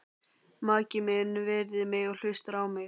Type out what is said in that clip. Maki minn virðir mig og hlustar á mig.